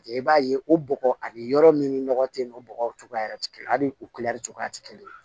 I b'a ye o bɔgɔ ani yɔrɔ min nɔgɔ tɛ yen nɔ bɔgɔw cogoya tɛ kelen a ni o cogoya tɛ kelen ye